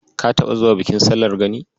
Ka taɓa zuwa bikin sallar Gani?